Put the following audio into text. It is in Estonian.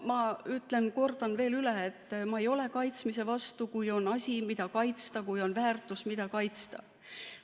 Ma kordan veel üle, et ma ei ole kaitsmise vastu, kui on asi, mida kaitsta, kui on väärtus, mida kaitsta.